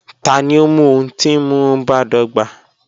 Tani o mu ohun ti nmu badọgba?